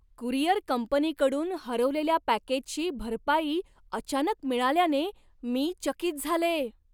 Courier कंपनीकडून हरवलेल्या पॅकेजची भरपाई अचानक मिळाल्याने मी चकित झाले.